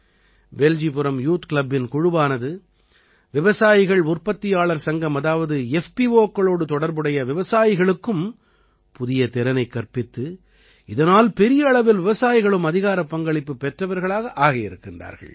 Beljipuram youth கிளப்பின் குழுவானது விவசாயிகள் உற்பத்தியாளர் சங்கம் அதாவது FPOக்களோடு தொடர்புடைய விவசாயிகளுக்கும் புதிய திறனைக் கற்பித்து இதனால் பெரிய அளவில் விவசாயிகளும் அதிகாரப் பங்களிப்பு பெற்றவர்களாக ஆகியிருக்கிறார்கள்